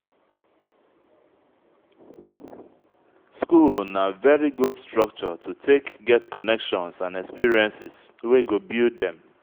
school na very good structure to take get connections and experiences wey go build dem